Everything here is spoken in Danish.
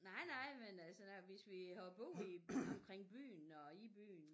Nej nej men altså hvis vi hopper ud i omkring byen og i byen